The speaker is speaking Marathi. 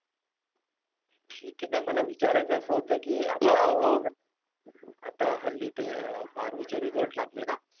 ठीक आहे नाही मला विचारायचं असं होत कि , आता हल्ली ते बारावीचे result लागले ना.